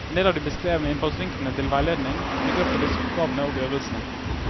En del av de beskrevne innfallsvinklene til veiledning bygger på disse oppgavene og øvelsene.